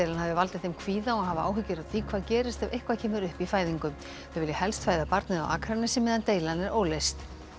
hafi valdið þeim kvíða og hafa áhyggjur af því hvað gerist ef eitthvað kemur upp í fæðingu þau vilja helst fæða barnið á Akranesi meðan deilan er óleyst